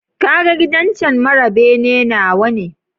Kaga gidan cen mara bene nawane?